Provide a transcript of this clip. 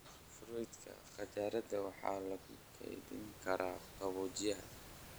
Fruita qajaarada waxaa lagu keydin karaa qaboojiyaha.